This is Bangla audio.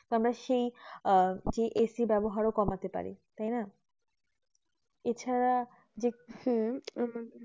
আমাদের সেই আহ AC ব্যবহার কমাতে পারি তাই না এছাড়া যে